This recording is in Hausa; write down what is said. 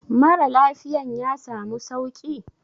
Mara lafiyan ya samu sauki?